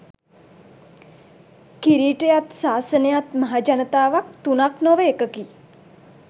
කිරීටයත් සාසනයත් මහජනතාවත් තුනක් නොව එකකි.